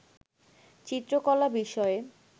চিত্রকলা বিষয়ে